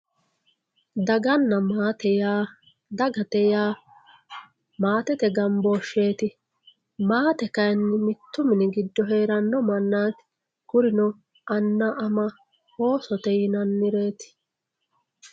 daganna maate yaa dagate yaa maatete gamboosheeti maate kayiini mittu mini giddo heeranno manaati kurino anna, ama, oosote yinannireeti.